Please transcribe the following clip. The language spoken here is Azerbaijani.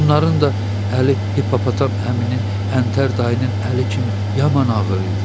Onların da əli Hipopotam haminin Əntər dayının əli kimi yaman ağır idi.